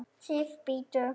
SIF, BÍDDU!